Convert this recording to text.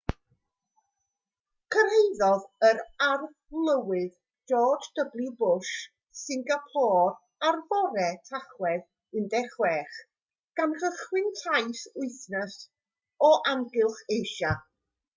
cyrhaeddodd yr arlywydd george w bush singapôr ar fore tachwedd 16 gan gychwyn taith wythnos o amgylch asia